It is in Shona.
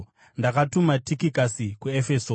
Ndakatuma Tikikasi kuEfeso.